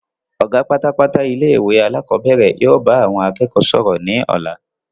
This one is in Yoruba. Ọ̀gá pátápátá ilé ìwé alakọ̀bẹ́ẹ́rẹ̀ yìí ó bá àwọn akẹ́kọ̀ọ́ sọ̀rọ̀ ni ọ̀la.